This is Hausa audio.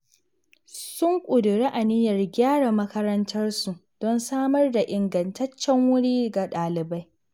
Sun ƙuduri aniyar gyara makarantarsu don samar da ingantaccen wuri ga ɗalibai.